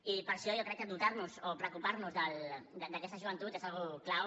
i per això jo crec que dotar nos o preocupar nos d’aquesta joventut és una cosa clau